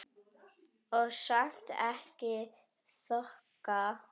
Og samt ekki þoka.